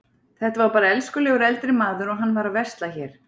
Þetta var bara elskulegur eldri maður og hann var að versla hér.